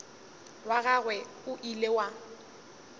wa gagwe o ile wa